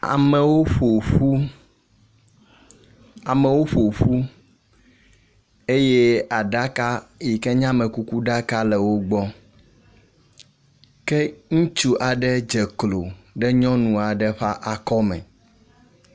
Amewo ƒo ƒu. Amewo ƒo ƒu eye aɖaka yi ken ye amekukuɖaka le wo gbɔ. Ke ŋutsu aɖe dze klo ɖe nyɔnua ɖe ƒe akɔ me.